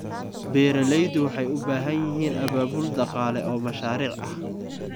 Beeraleydu waxay u baahan yihiin abaabul dhaqaale oo mashaariic ah.